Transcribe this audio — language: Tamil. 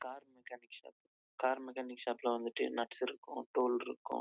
நுட்ஸ் லாம் இருக்கு